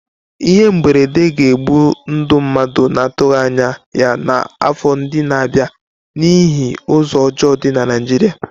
Ihe mberede ga-egbu ndụ mmadụ na-atụghị anya ya n'afọ ndị na-abịa n'ihi ụzọ ọjọọ dị na Naịjirịa.